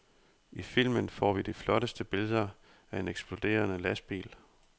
I filmen får vi de flotteste billeder af en eksploderende lastbil.